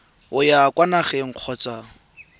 o ya kwa nageng kgotsa